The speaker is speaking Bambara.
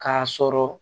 K'a sɔrɔ